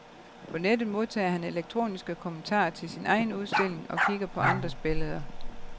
På nettet modtager han elektroniske kommentarer til sin egen udstilling og kigger på andres billeder.